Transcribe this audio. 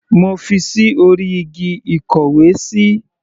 Mo fi ṣí orí igi ìkówesí.